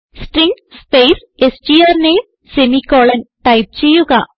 string space strname semicolon type ചെയ്യുക